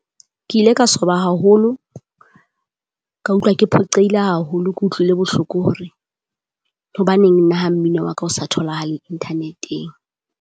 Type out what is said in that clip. Ke ile ka swaba haholo, ka utlwa ke phoqeile haholo. Ke utlwile bohloko hore, hobaneng nna ha mmino wa ka o sa tholahale Interneteng.